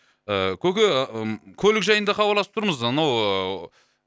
ыыы көке м көлік жайында хабарласып тұрмыз анау ыыы